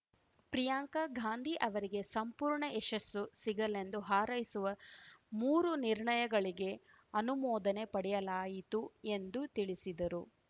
ಪ್ರಿಯಾಂಕ ಗಾಂಧಿ ಅವರಿಗೆ ಸಂಪೂರ್ಣ ಯಶಸ್ಸು ಸಿಗಲೆಂದು ಹಾರೈಸುವ ಮೂರು ನಿರ್ಣಯಗಳಿಗೆ ಅನುಮೋದನೆ ಪಡೆಯಲಾಯಿತು ಎಂದು ತಿಳಿಸಿದರು